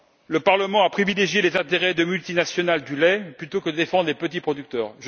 Le Parlement a privilégié les intérêts de multinationales du lait plutôt que la défense des petits producteurs.